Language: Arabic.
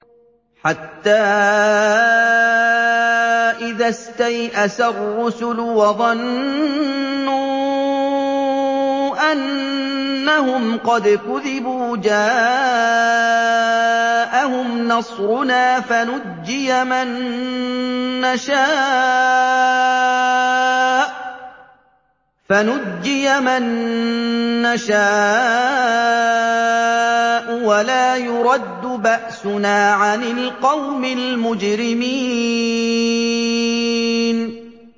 حَتَّىٰ إِذَا اسْتَيْأَسَ الرُّسُلُ وَظَنُّوا أَنَّهُمْ قَدْ كُذِبُوا جَاءَهُمْ نَصْرُنَا فَنُجِّيَ مَن نَّشَاءُ ۖ وَلَا يُرَدُّ بَأْسُنَا عَنِ الْقَوْمِ الْمُجْرِمِينَ